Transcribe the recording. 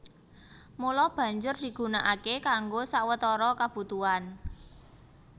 Mula banjur digunakaké kanggo sawetara kabutuhan